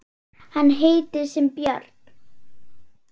Hann heitir sem björn.